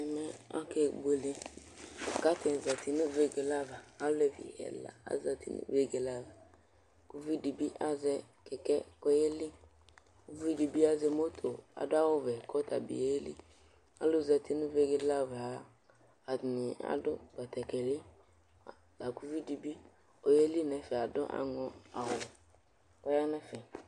Ɛmɛ akebuele kʋ atani zati nʋ vegeke ava, ɔlevi ɛfa azati nʋ vegele ava Kʋ ʋvidibi azɛ kɛkɛ kʋ ɔyeli, ʋvidibi azɛ moto adʋ awʋvɛ kʋ ɔyeli, alʋzati nʋ vegele ava atani adʋ batakali, lakʋ ʋvidibi ɔyeli nʋ ɛfɛ adʋ aŋɔawʋ kʋ ɔyanʋ ɛfɛ